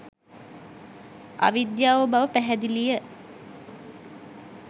අවිද්‍යාව බව පැහැදිලිය.